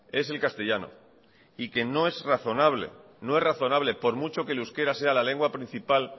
es el castellano y que no es razonable no es razonable por mucho que el euskera sea la lengua principal